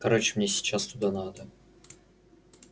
короче мне сейчас туда надо